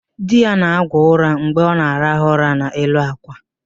Di ya na-agwọ ụra mgbe ọ na-araha ụra n'elu àkwà